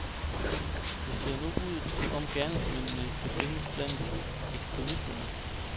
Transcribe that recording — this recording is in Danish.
Det ser nu ud, som om gerningsmændene skal findes blandt ekstremister.